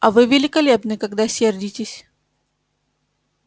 а вы великолепны когда сердитесь